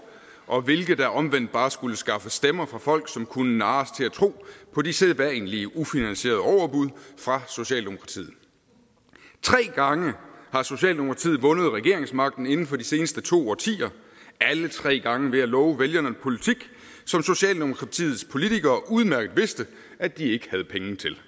og hvilke der omvendt bare skulle skaffe stemmer fra folk som kunne narres til at tro på de sædvanlige ufinansierede overbud fra socialdemokratiet tre gange har socialdemokratiet vundet regeringsmagten inden for de seneste to årtier alle tre gange ved at love vælgerne en politik som socialdemokratiets politikere udmærket vidste at de ikke havde penge til